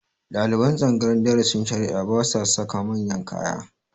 Ɗaliban tsangayar darasin shari'a ba sa saka manyan kaya